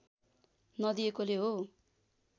नदिएकोले हो